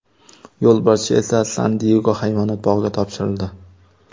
Yo‘lbarscha esa San-Diyego hayvonot bog‘iga topshirildi.